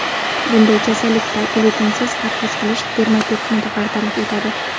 Bunday kasallikda glyutinsiz parhez qilish dermatitni bartaraf etadi.